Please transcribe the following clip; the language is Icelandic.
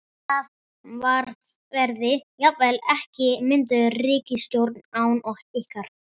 Það verði jafnvel ekki mynduð ríkisstjórn án ykkar?